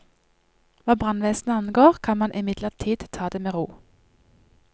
Hva brannvesenet angår, kan man imidlertid ta det med ro.